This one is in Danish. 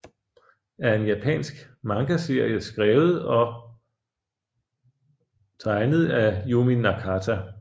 er en japansk mangaserie skrevet og tegnet af Yumi Nakata